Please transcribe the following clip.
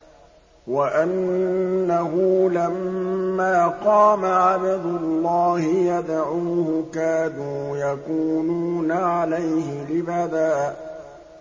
وَأَنَّهُ لَمَّا قَامَ عَبْدُ اللَّهِ يَدْعُوهُ كَادُوا يَكُونُونَ عَلَيْهِ لِبَدًا